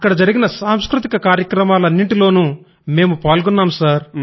అక్కడ జరిగిన సాంస్కృతిక కార్యక్రమాలన్నింటిలోనూ మేము పాల్గొన్నాము సర్